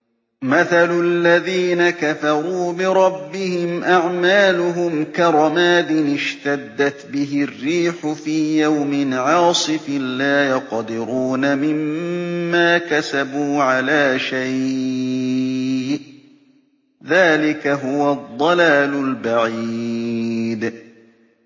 مَّثَلُ الَّذِينَ كَفَرُوا بِرَبِّهِمْ ۖ أَعْمَالُهُمْ كَرَمَادٍ اشْتَدَّتْ بِهِ الرِّيحُ فِي يَوْمٍ عَاصِفٍ ۖ لَّا يَقْدِرُونَ مِمَّا كَسَبُوا عَلَىٰ شَيْءٍ ۚ ذَٰلِكَ هُوَ الضَّلَالُ الْبَعِيدُ